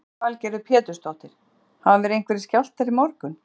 Lillý Valgerður Pétursdóttir: Hafa verið einhverjir skjálftar í morgun?